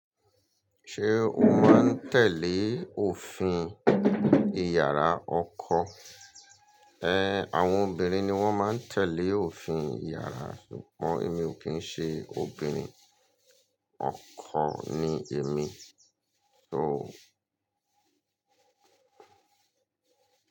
Ṣé o máa ń tẹ̀lé òfin ìyàrá ọkọ? Ẹ, àwọn obìnrin ni wọ́n máa ń tẹ̀lé òfin ìyàrá ṣùgbọ́n èmi ò kí ń ṣe obìnrin, ọkọ ni èmi, so.